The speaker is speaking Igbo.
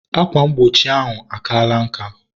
Akwa mgbochi ahụ akaala nka